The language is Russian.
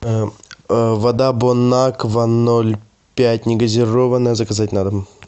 вода бонаква ноль пять негазированная заказать на дом